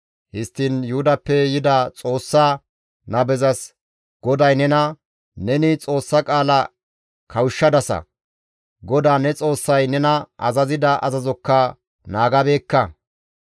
Histtiin Yuhudappe yida Xoossa nabezas, «GODAY nena, ‹Neni Xoossa qaala kawushshadasa; GODAA ne Xoossay nena azazida azazokka naagabeekka.